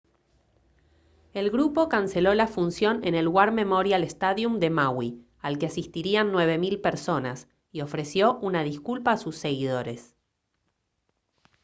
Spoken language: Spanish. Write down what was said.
el grupo canceló la función en el war memorial stadium de maui al que asistirían 9000 personas y ofreció una disculpa a sus seguidores